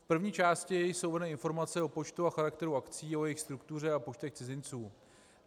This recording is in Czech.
V první části jsou uvedeny informace o počtu a charakteru akcí, o jejich struktuře a počtech cizinců.